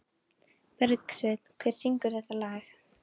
Bergsveinn, hver syngur þetta lag?